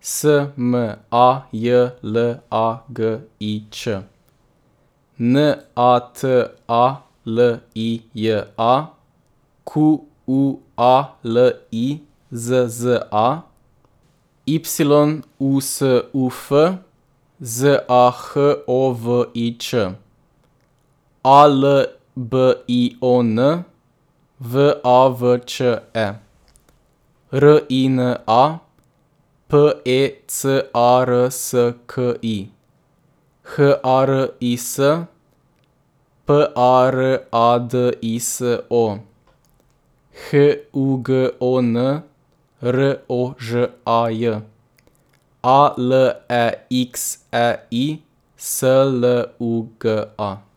S M A J L A G I Ć; N A T A L I J A, Q U A L I Z Z A; Y U S U F, Z A H O V I Ć; A L B I O N, V A V Č E; R I N A, P E C A R S K I; H A R I S, P A R A D I S O; H U G O N, R O Ž A J; A L E X E I, S L U G A.